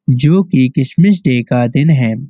जोकि Christmas Day का दिन है।